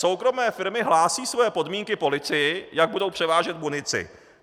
Soukromé firmy hlásí své podmínky policii, jak budou převážet munici.